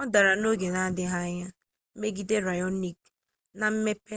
ọ dara n'oge na-adịghị anya megide raonic na mmepe